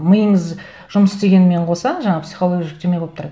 миыңыз жұмыс істегенімен қоса жаңағы психологиялық жүктеме болып тұрады